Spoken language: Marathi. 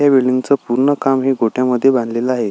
ह्या बिल्डींगच पूर्ण काम हे गोठ्यामध्ये बांधलेलं आहे.